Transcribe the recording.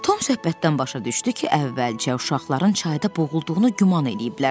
Tom söhbətdən başa düşdü ki, əvvəlcə uşaqların çayda boğulduğunu güman eləyiblər.